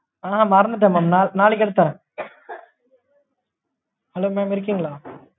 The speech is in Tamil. அஹ் மறந்துட்டேன் mam நாளைக்கு நாளைக்கு எடுத்துட்டு வரேன் hello mam இருக்கீங்களா?